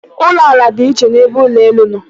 Ụlọ ala dị iche n'ebe ụlọ elu nọ.